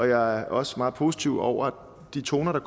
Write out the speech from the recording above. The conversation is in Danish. jeg er også meget positiv over de toner der